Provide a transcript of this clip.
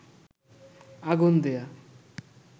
আগুন দেয়া